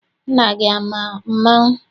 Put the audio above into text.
Nna gị ama mmanwụ?